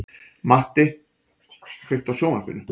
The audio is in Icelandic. Matti, kveiktu á sjónvarpinu.